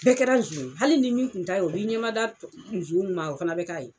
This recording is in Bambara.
Bɛɛ kɛra sɔn ye, hali ni min tun t'a ye o b'i ɲɛmada tɔ nsɔn nun ma o fana bɛ k'a ye.